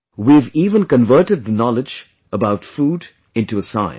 We have even converted the knowledge about food into a science